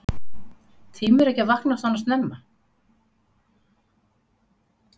Sólveig: Tímirðu ekki að vakna svona snemma?